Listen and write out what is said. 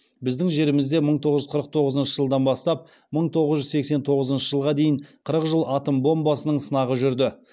біздің жерімізде мың тоғыз жүз қырық тоғызыншы жылдан бастап мың тоғыз жүз сексен тоғызыншы жылға дейін қырық жыл атом бомбасының сынағы жүрді